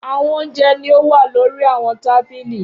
Awọn ounjẹ ni o wa lori awọn tabili.